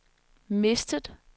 mistet